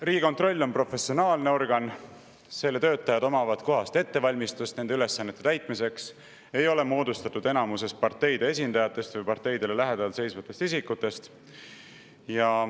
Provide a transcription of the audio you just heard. Riigikontroll on professionaalne organ: selle töötajad omavad kohast ettevalmistust selliste ülesannete täitmiseks ja enamus selle ei ole parteide esindajad või parteidele lähedal seisvad isikud.